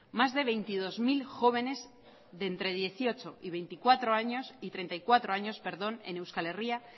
más de veintidós mil jóvenes de entre dieciocho y treinta y cuatro años en euskal herria